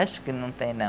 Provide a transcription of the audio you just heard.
Acho que não tem, não.